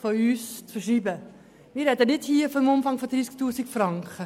Ich spreche hier nicht von einem Umfang von 30 000 Franken.